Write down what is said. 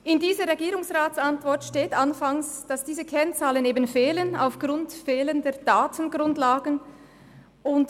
In der Regierungsratsantwort steht zu Beginn, dass diese Kennzahlen aufgrund fehlender Datengrundlagen fehlen.